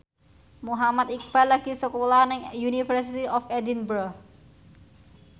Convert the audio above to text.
Muhammad Iqbal lagi sekolah nang University of Edinburgh